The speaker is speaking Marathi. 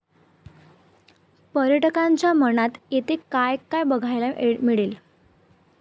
पर्यटकांच्या मनात येते काय काय बघायला मिळेल?